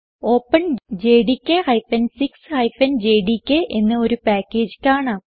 openjdk 6 JDK എന്ന ഒരു package കാണാം